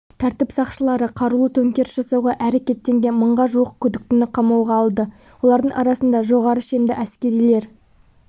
тәртіп сақшылары қарулы төңкеріс жасауға әрекеттенген мыңға жуық күдіктіні қамауға алды олардың арасында жоғары шенді әскерилер